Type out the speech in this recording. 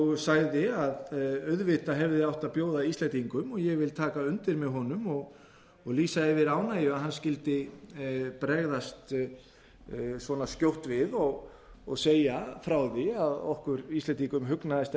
og sagði að auðvitað hefði átt að bjóða íslendingum og ég vil taka undir með honum og lýsa yfir ánægju með að hann skyldi bregðast svona skjótt við og segja frá því að okkur íslendingum hugnist